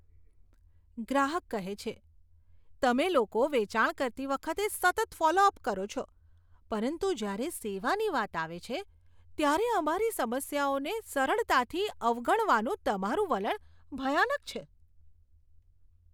ગ્રાહક કહે છે, તમે લોકો વેચાણ કરતી વખતે સતત ફોલો અપ કરો છો પરંતુ જ્યારે સેવાની વાત આવે છે, ત્યારે અમારી સમસ્યાઓને સરળતાથી અવગણવાનું તમારું વલણ ભયાનક છે.